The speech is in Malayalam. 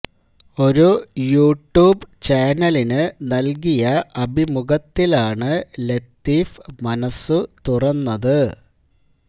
ഒരു യൂട്യൂബ് ചാനലിനു നൽകിയ അഭിമുഖത്തിലാണ് ലത്തീഫ് മനസ്സു തുറന്നത്